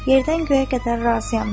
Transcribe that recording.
Yerdən göyə qədər razıyam.